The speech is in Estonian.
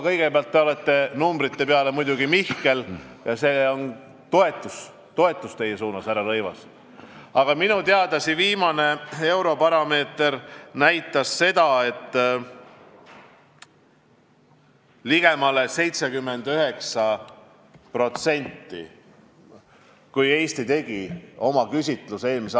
Kõigepealt, te olete numbrite peale muidugi mihkel – selles osas ma tunnustan teid, härra Rõivas –, aga minu teada see viimane Eurobaromeetri uuring näitas seda, et ligemale 79% toetab Euroopa Liidus olemist.